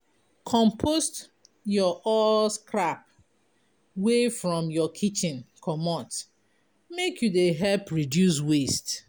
Compost your all scrap wey from your kitchen comot make you dey help reduce waste.